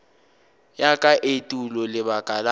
ya ka etulo lebaka la